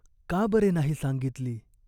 का बरे नाही सांगितली ?